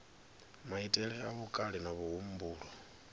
maitele a vhukale na muhumbulo